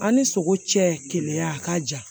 An ni sogo cɛ keleya a ka jan